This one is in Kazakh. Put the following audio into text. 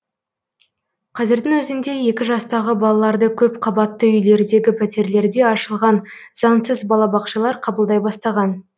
қазірдің өзінде екі жастағы балаларды көпқабатты үйлердегі пәтерлерде ашылған заңсыз балабақшалар қабылдай бастаған